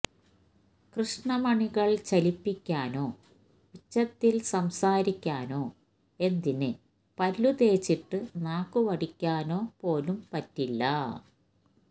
കൃഷ്ണമണികള് ചലിപ്പിക്കാനോ ഉച്ചത്തിൽ സംസാരിക്കാനോ എന്തിന് പല്ലു തേച്ചിട്ട് നാക്കു വടിക്കാനോ പോലും പറ്റില്ല